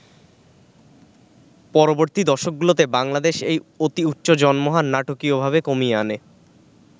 পরবর্তী দশকগুলোতে বাংলাদেশ এই অতি উচ্চ জন্ম হার নাটকীয়ভাবে কমিয়ে আনে।